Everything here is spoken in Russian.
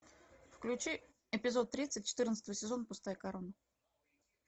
включи эпизод тридцать четырнадцатого сезона пустая корона